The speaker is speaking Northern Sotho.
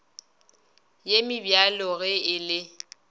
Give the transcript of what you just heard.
ye mebjalo ge e le